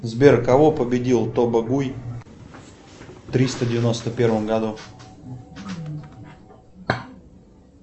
сбер кого победил тобогуй в триста девяносто первом году